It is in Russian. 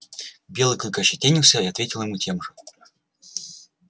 белый клык ощетинился и ответил ему тем же